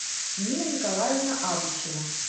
нина николаевна абушева